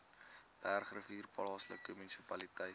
bergrivier plaaslike munisipaliteit